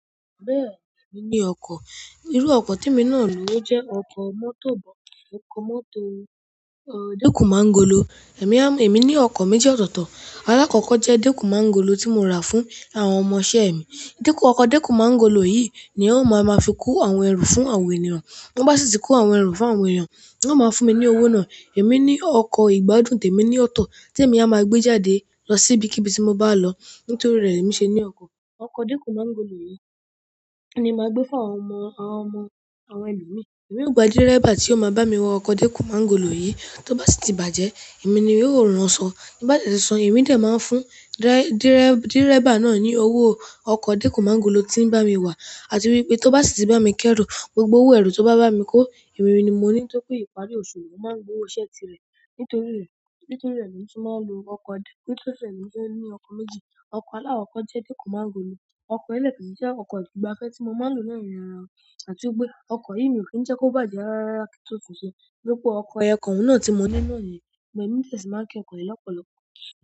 Bẹ́ẹ̀ mimi ọkọ irú ọkọ̀ temi náà lò jẹ́ ọkọ̀ mọ́tò bọ̀kì, ọkọ̀ déùkù máńgòlò. Ẹ̀mi ní ọkọ̀ méjì ọ̀tọ̀ọ̀tọ̀. Alákọ̀ọ́kọ́ jẹ́ déùkù máńgòlò tí mo rà fún àwọn ọmọ iṣẹ́ mi. Ọkọ̀ déùkù máńgòlò yìí ni èèyàn máa máa fi kó àwọn ẹrù fún àwọn ènìyàn. Ti wọ́n bá sì ti kó àwọn ẹrù fún àwọn èèyàn, wọ́n o máa fún mi ní owó náà. Èmi ní ọkọ̀ ìgbádùn tèmi ní ọ̀tọ̀ tí èmi a máa gbé jáde lọ sí ibikíbi tí mo bá lọ. Nítorí rẹ̀ èmi ṣe ní ọkọ̀. Ọkọ̀ déùkù máńgòlò yìí ni màá gbé fúnàwọn ẹlòmíi. Èmi ò gba dírẹ́bà tí ó máa bá mi wọ ọkọ̀ déùkù máńgòlò yìí. To ba si ti bàjẹ́ emi nii yóò ranso tí n ba de ti sọ, èmi dè máa ń fún dírẹ́bà náà ní owó ọkọ̀ déùkù máńgòlò tí ń bá mi wà. Àti wípé tó bá sì ti bá mi kérò, gbogbo owó ẹrù tó bá bá mi kó, èmi ni mo ní. Nítorí pé ìparí oṣù, oun máa ń gbowó iṣẹ́ tirẹ̀. Nítorí rẹ̀ ni tí máa ń lo ọkọ̀, nítorí re ni emi ṣe ní ọkọ̀ méjì. Ọkọ alakooko jẹ deuku mongolo, ọkọ eleekeji jẹ ọkọ ìgbafẹ́ ti mo maa lo àti wípé ọkọ̀ yìí mi ò kí n jẹ́ kó bàjẹ́ rárára ti o fi se torí pé ọkọ̀ ẹyookàn ohun náà tí mo ní náà nìyẹn, èmi de sì máa ń ke ọkọ̀ yìí lọ́pọ̀lọpọ̀.